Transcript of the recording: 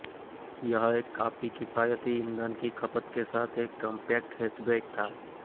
यह एक काफी किफायती ईंधन की खपत के साथ एक कॉम्पैक्ट हैचबैक था